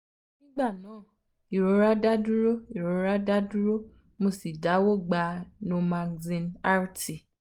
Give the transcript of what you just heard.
nigba naa irora da duro irora da duro mo si dawọ gba normaxin rt